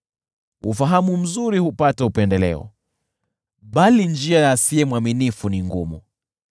Ufahamu mzuri hupata upendeleo, bali njia ya asiye mwaminifu ni ngumu.